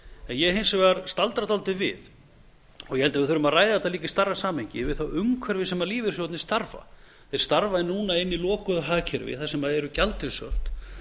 ég hins vegar staldra dálítið við og ég held að við þurfum að ræða þetta líka í stærra samhengi við það umhverfi sem lífeyrissjóðirnir starfa í þeir starfa núna inni í lokuðu hagkerfi þar sem eru gjaldeyrishöft